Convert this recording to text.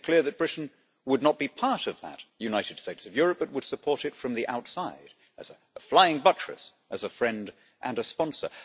he made it clear that Britain would not be part of that the United States of Europe, but would support it from the outside as a flying buttress, as a friend and a sponsor.